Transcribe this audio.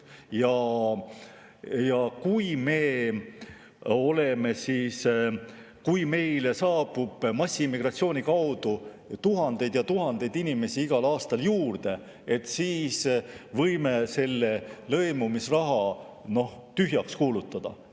Kui meile saabub massiimmigratsiooni tõttu tuhandeid ja tuhandeid inimesi igal aastal juurde, siis võime selle lõimumisraha, noh, tühjaks kuulutada.